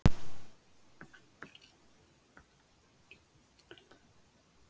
Og hann sá ekkert athugavert við það, Ólafía Tólafía gæti alveg gleypt við því.